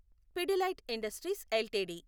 Pidilite industries LTD